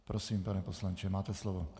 Prosím, pane poslanče, máte slovo.